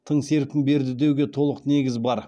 тың серпін берді деуге толық негіз бар